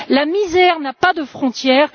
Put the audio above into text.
La misère n'a pas de frontières.